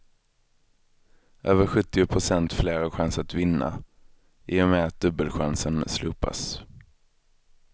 Över sjuttio procent fler har chans att vinna, i och med att dubbelchansen slopas.